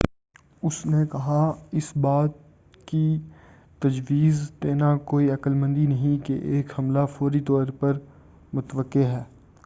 اُس نے کہا،”اس بات کی تجویز دینا کوئی عقلمندی نہیں کہ ایک حملہ فوری طور پر متوقّع ہے۔